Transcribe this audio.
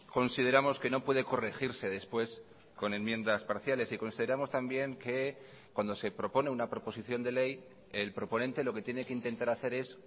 consideramos que no puede corregirse después con enmiendas parciales y consideramos también que cuando se propone una proposición de ley el proponente lo que tiene que intentar hacer es